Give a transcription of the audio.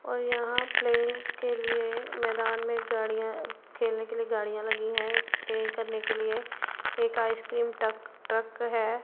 और यहां प्ले के लिए मैदान में गाड़ियां खेलने के लिए गाड़ियां लगी हैं प्ले करने के लिए एक आइसक्रीम टक ट्रक है।